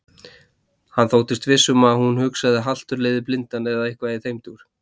Hann þóttist viss um að hún hugsaði haltur leiðir blindan eða eitthvað í þeim dúr.